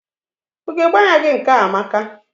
Ugegbe anya gị nke a amaka.